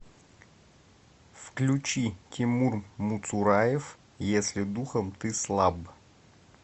включи тимур муцураев если духом ты слаб